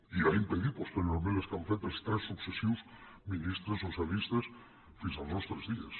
i ha impedit posteriorment les que han fet els tres successius ministres socialistes fins als nostres dies